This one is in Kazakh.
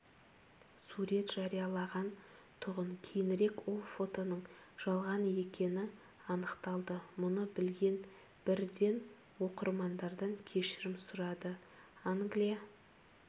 сурет жариялаған-тұғын кейінірек ол фотоның жалған екені анықталды мұны білген бірден оқырмандардан кешірім сұрады англия